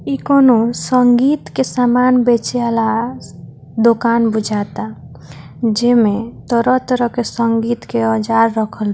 इ कोनो संगीत के सामान बेचे वाला दोकान बुझाता जेमें तरह-तरह के संगीत के औजार रखल --